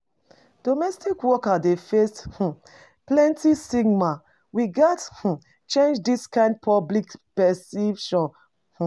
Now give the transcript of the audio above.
Domestic workers dey face um plenty stigma; we gats um change dis kain public perception. um